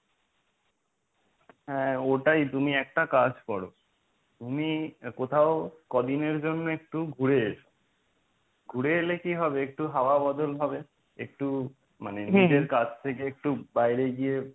হ্যাঁ ওটাই তুমি একটা কাজ করো তুমি কোথাও কদিনের জন্য একটু ঘুরে এসো। ঘুরে এলে কি হবে একটু হওয়া বদল হবে একটু মনে নিজের কাজ থেকে একটু বাইরে গিয়ে